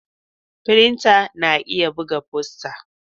Firinta na iya buga fosta.